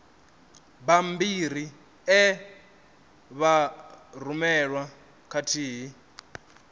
bammbiri e vha rumelwa khathihi